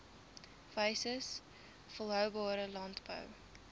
wyses volhoubare landbou